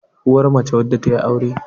uwa mace wadda ta yi aure